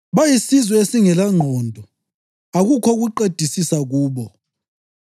Bayisizwe esingelangqondo, akukho ukuqedisisa kubo.